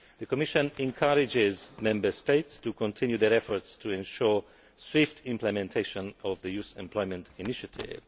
The Commission encourages Member States to continue their efforts to ensure swift implementation of the Youth Employment Initiative.